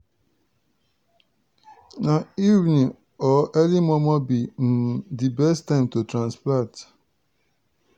na evening or early momo be um di best time to transplant.